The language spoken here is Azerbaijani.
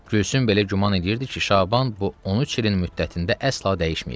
Gülsüm belə güman edirdi ki, Şaban bu 13 ilin müddətində əsla dəyişməyib.